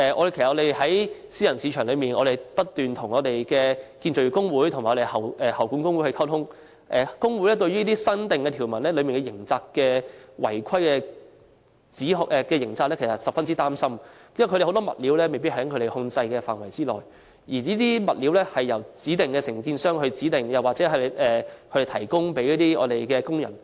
其實在私人市場內，我們不斷與建造業工會和喉管工會溝通，工會對於《條例草案》新訂條文的違規刑責，感到十分擔心，因為有很多物料，未必在他們控制範圍內，而這些物料是由承建商所指定，或由他們提供予工人。